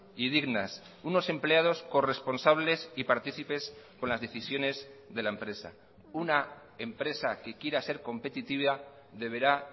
y dignas unos empleados corresponsables y partícipes con las decisiones de la empresa una empresa que quiera ser competitiva deberá